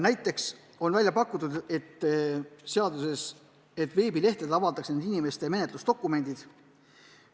Näiteks on eelnõus välja pakutud, et veebilehtedel avaldatakse nende inimeste menetlusdokumendid.